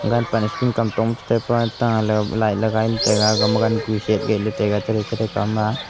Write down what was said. school kamtong chetai pa ta lo le velai ley lai taiga gama gan ku shyatgeh ley taiga chatley chethre kawma --